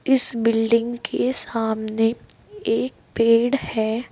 इस बिल्डिंग के सामने एक पेड़ है।